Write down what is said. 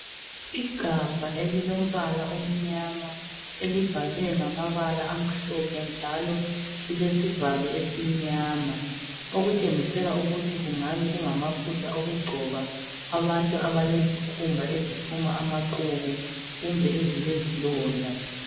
Igabha elilombala omnyama ,elibhalwe ngamabala amhlophe njalo lilesivalo esimnyama .Okutshengisela ukuthi kungabe kungamafutha okugcoba abantu abalezikhumba eziphuma amaqubu kumbe ezilezilonda.